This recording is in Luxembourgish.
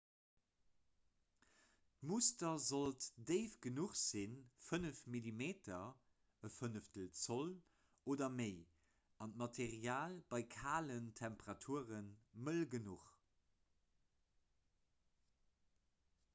d'muster sollt déif genuch sinn 5 mm 1/5 zoll oder méi an d'material bei kalen temperature mëll genuch